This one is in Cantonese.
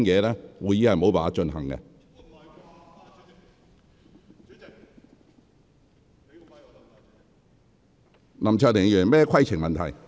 林卓廷議員，你有甚麼規程問題？